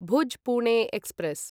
Bhuj Pune express